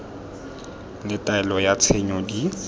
le taelo ya tshenyo di